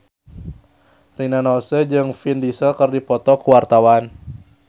Rina Nose jeung Vin Diesel keur dipoto ku wartawan